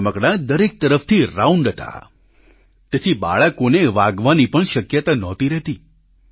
આ રમકડાં દરેક તરફથી રાઉન્ડ હતા તેથી બાળકોને વાગવાની પણ શક્યતા નહોતી રહેતી